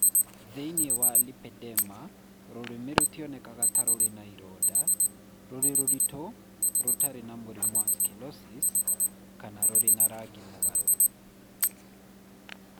Thĩinĩ wa lipedema, rũrĩmĩ rũtionekaga ta rũrĩ na ironda, rũrĩ rũritũ (rũtarĩ na mũrimũ wa sclerosis), kana rũrĩ na rangi mũgarũ.